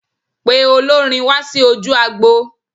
Pe olórin wá sí ojú agbo.